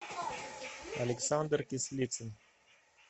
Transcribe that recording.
александр кислицын